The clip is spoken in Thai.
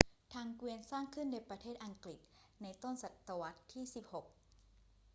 ทางเกวียนสร้างขึ้นในประเทศอังกฤษเในต้นศตวรรษที่ 16